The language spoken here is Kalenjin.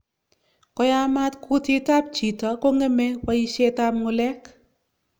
Koyamaat kutiit ab chito kong'eme boisyet ab ng'ulek